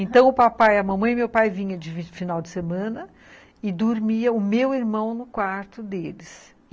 Então, o papai, a mamãe e meu pai vinham de final de semana e dormia o meu irmão no quarto deles.